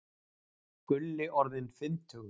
Gulli orðinn fimmtugur.